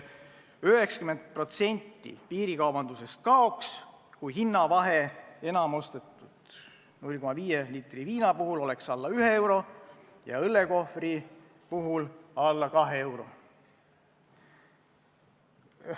90% piirikaubandusest kaoks, kui hinnavahe enim ostetud 0,5-liitrise viinapudeli puhul oleks alla 1 euro ja õllekohvri puhul alla 2 euro.